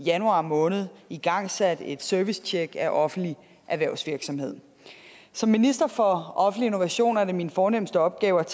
i januar måned igangsat et servicetjek af offentlig erhvervsvirksomhed som minister for offentlig innovation er det min fornemste opgave at